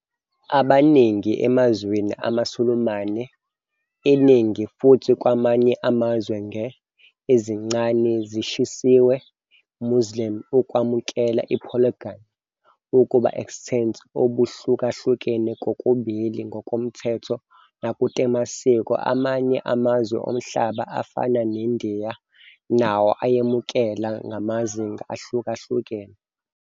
Abaningi emazweni amaSulumane-iningi futhi kwamanye amazwe nge ezincane ezishisiwe Muslim ukwamukela polygyny ukuba extents obuhlukahlukene kokubili ngokomthetho nakutemasiko, amanye amazwe omhlaba afana neNdiya nawo ayemukela ngamazinga ahlukahlukene.